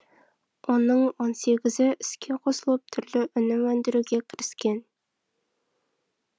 оның он сегізі іске қосылып түрлі өнім өндіруге кіріскен